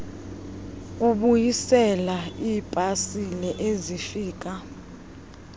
kubuyisela iipasile ezifika